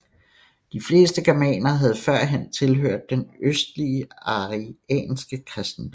De fleste germanere havde førhen tilhørt den østlige arianske kristendom